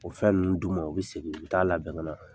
O fɛn ninnu d'u ma, u bi segin, u bi taa labɛn ŋa na.